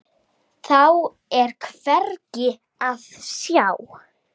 Þá er hvergi að sjá.